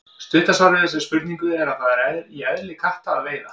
Stutta svarið við þessari spurningu er að það er í eðli katta að veiða.